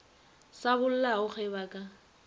sa bollago ge ba ka